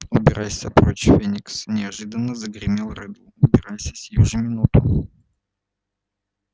убирайся прочь феникс неожиданно загремел реддл убирайся сию же минуту